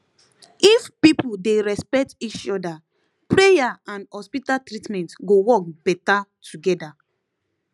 if people dey respect each other prayer and hospital treatment go work better together